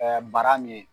bara min ye